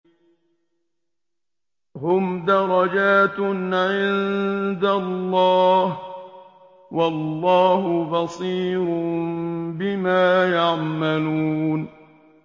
هُمْ دَرَجَاتٌ عِندَ اللَّهِ ۗ وَاللَّهُ بَصِيرٌ بِمَا يَعْمَلُونَ